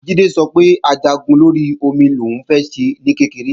Jídé sọ wípé Ajagun lórí omi lòún fẹ́ ṣe ní kékeré